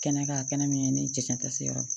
Kɛnɛ kan a kɛnɛ min ye ne jɛ cɛn tɛ se yɔrɔ